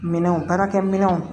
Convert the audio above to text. Minɛnw baarakɛminɛnw